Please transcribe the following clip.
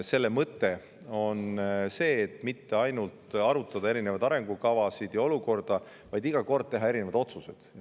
Selle mõte pole mitte ainult arutada arengukavasid ja olukorda, vaid iga kord tehakse ka otsuseid.